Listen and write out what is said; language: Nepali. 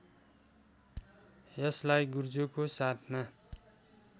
यसलाई गुर्जोको साथमा